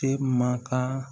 E man kan